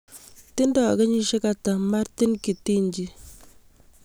Tindo kenyisiek ata Martin Githinji